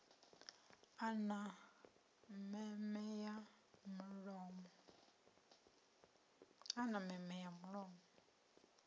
a na meme ya mulomo